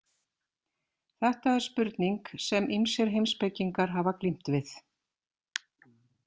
Þetta er spurning sem ýmsir heimspekingar hafa glímt við.